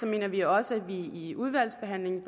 mener vi også at vi i udvalgsbehandlingen